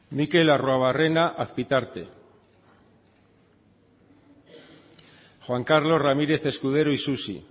sartu da mikel arruabarrena azpitarte sartu da juan carlos ramírez escudero isusi